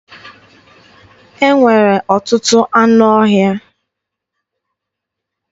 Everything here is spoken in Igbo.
E nwere ọtụtụ anụ ọhịa.